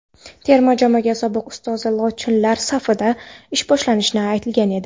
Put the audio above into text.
terma jamoa sobiq ustozi "lochinlar" safida ish boshlashi aytilgan edi.